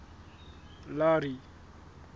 larry